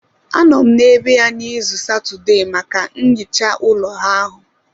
Anọ m n'ebe ya izu Satọde maka nhicha ụlọ ahụ